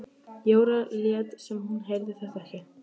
Jóra lét sem hún heyrði þetta ekki.